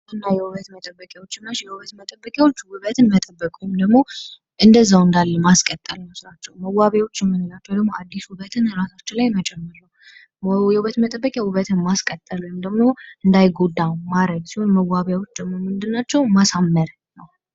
የውበት መጠበቂዎች፤ የውበት መጠበቂዎች ውበትን መጠበቅ ወይንም ደሞ እንደዘው እንዳለ ማስቀጠል ነው። ስራቸው መዋቢያዎች ምላቸው ደሞ አዲስ ውበትን ራሳቸው ለመጨመር ነው። የውበት መጠበቂያ ውበትን ማስቀጠል ወይንም ደግሞ እንዳይጎዳ ማድረግ ሲሆን መዋቢያዎች ደግሞ ምንድን ናቸው ማሳምር ነው።